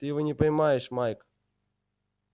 ты его не поймаешь майк